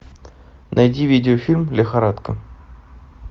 найди видеофильм лихорадка